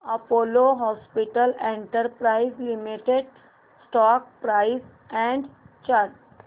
Apollo hospitals enterprise limited stock price and chart